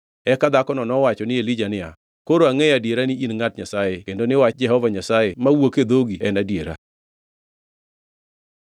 Eka dhakono nowacho ni Elija niya, “Koro angʼeyo adiera ni in ngʼat Nyasaye kendo ni wach Jehova Nyasaye mawuok e dhogi en adiera.”